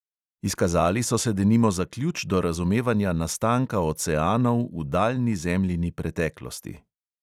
Izkazali so se denimo za ključ do razumevanja nastanka oceanov v daljni zemljini preteklosti.